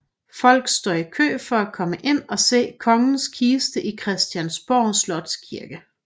Folk står i kø for at komme ind og se kongens kiste i Christiansborg Slotskirke